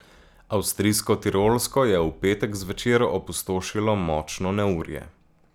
Avstrijsko Tirolsko je v petek zvečer opustošilo močno neurje.